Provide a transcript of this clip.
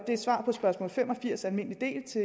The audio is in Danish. det er svar på spørgsmål fem og firs almindelig del til